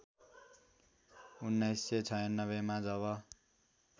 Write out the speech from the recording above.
१९९६ मा जब